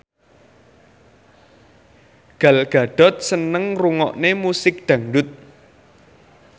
Gal Gadot seneng ngrungokne musik dangdut